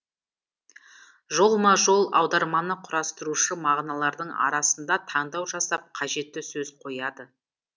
жолма жол аударманы құрастырушы мағыналардың арасында таңдау жасап қажетті сөз қояды